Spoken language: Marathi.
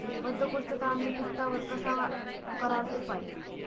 बद्धकोष्ठता आणि पित्तावर कसा कराल उपाय?